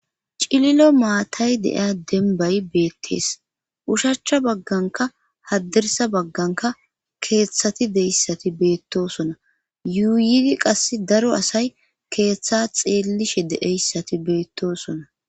cililo maatay de'iya dembay beettees ushachcha bagganka haddirsa bagganka keeththati deyssati beettosona yuuydi qass daro asay keeththa xeellishe de'ayssati beettosona